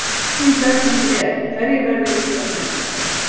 Spurning dagsins er: Hverjir verða Íslandsmeistarar?